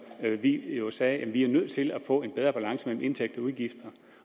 vi jo sagde at vi er nødt til at få en bedre balance mellem indtægter og udgifter